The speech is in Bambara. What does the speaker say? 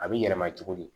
A bɛ yɛlɛma cogo di